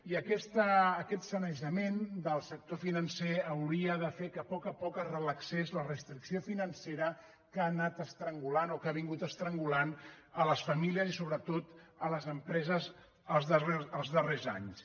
i aquest sanejament del sector financer hauria de fer que a poc a poc es relaxés la restricció financera que ha anat estrangulant o que ha vingut estrangulant les famílies i sobretot les empreses els darrers anys